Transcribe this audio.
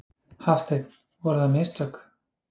Hafsteinn: Voru það mistök?